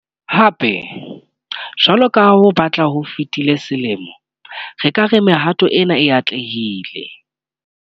Hape, jwalo ka ha ho batla ho fetile selemo, re ka re mehato ena e atlehile.